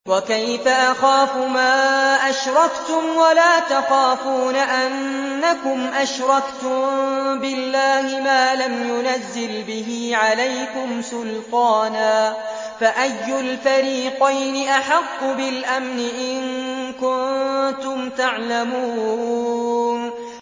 وَكَيْفَ أَخَافُ مَا أَشْرَكْتُمْ وَلَا تَخَافُونَ أَنَّكُمْ أَشْرَكْتُم بِاللَّهِ مَا لَمْ يُنَزِّلْ بِهِ عَلَيْكُمْ سُلْطَانًا ۚ فَأَيُّ الْفَرِيقَيْنِ أَحَقُّ بِالْأَمْنِ ۖ إِن كُنتُمْ تَعْلَمُونَ